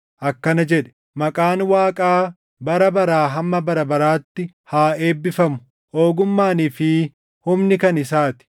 akkana jedhe: “Maqaan Waaqaa bara baraa // hamma bara baraatti haa eebbifamu; ogummaanii fi humni kan isaa ti.